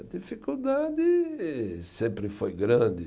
A dificuldade sempre foi grande.